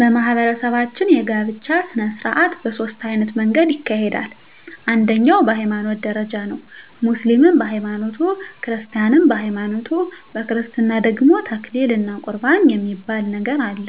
በማህበረሰባችን የጋብቻ ሰነስርአት በ ሶስት አይነት መንገድ ይካሄዳል አንደኛዉ በ ሀይማኖት ደረጃ ነዉ ሙስሊምም በ ሀይማኖቱ ክርስቲያንም በሀይማኖቱ በክርስትና ደግሞ ተክሊል እና ቁርባን የሚባል ነገር አለ